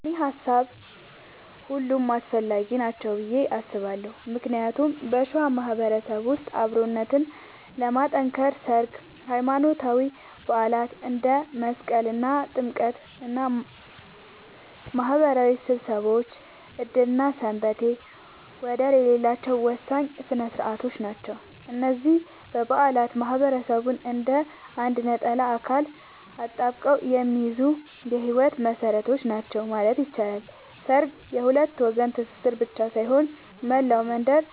እንደኔ ሃሳብ ሁሉም አስፈላጊ ናቸው ብዬ አስባለሁ ምክንያቱም በሸዋ ማህበረሰብ ውስጥ አብሮነትን ለማጥከር ሠርግ፣ ሃይማኖታዊ በዓላት እንደ መስቀልና ጥምቀት እና ማህበራዊ ስብሰባዎች ዕድርና ሰንበቴ ወደር የሌላቸው ወሳኝ ሥነ ሥርዓቶች ናቸው። እነዚህ በዓላት ማህበረሰቡን እንደ አንድ ነጠላ አካል አጣብቀው የሚይዙ የህይወት መሰረቶች ናቸው ማለት ይቻላል። ሠርግ የሁለት ወገን ትስስር ብቻ ሳይሆን፣ መላው መንደር